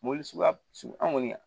Mobili suguya sugu an kɔni